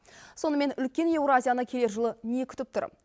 сонымен үлкен еуразияны келер жылы не күтіп тұр